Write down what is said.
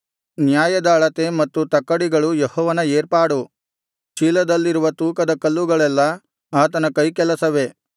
ನ್ಯಾಯದ ಅಳತೆ ಮತ್ತು ತಕ್ಕಡಿಗಳು ಯೆಹೋವನ ಏರ್ಪಾಡು ಚೀಲದಲ್ಲಿನ ತೂಕದಕಲ್ಲುಗಳೆಲ್ಲಾ ಆತನ ಕೈಕೆಲಸವೇ